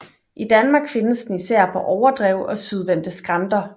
I Danmark findes den især på overdrev og sydvendte skrænter